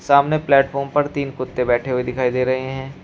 सामने प्लेटफॉर्म पर तीन कुत्ते बैठे हुए दिखाई दे रहे हैं।